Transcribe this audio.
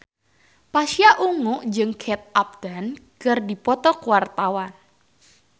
Pasha Ungu jeung Kate Upton keur dipoto ku wartawan